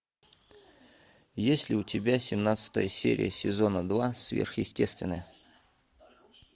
есть ли у тебя семнадцатая серия сезона два сверхъестественное